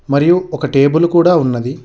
మరియు ఒక టేబుల్ కూడా ఉన్నది.